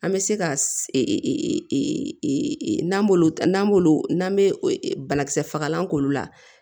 An bɛ se ka n'an b'olu n'an b'olu n'an bɛ banakisɛ fagalan k'olu la